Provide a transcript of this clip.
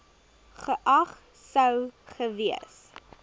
geag sou gewees